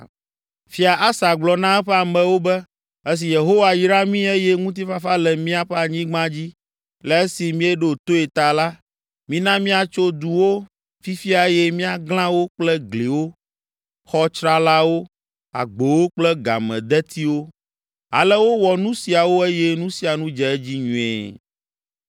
Fia Asa gblɔ na eƒe amewo be, “Esi Yehowa yra mí eye ŋutifafa le míaƒe anyigba dzi le esi míeɖo toe ta la, mina míatso duwo fifia eye míaglã wo kple gliwo, xɔ tsralawo, agbowo kple gamedetiwo.” Ale wowɔ nu siawo eye nu sia nu dze edzi nyuie.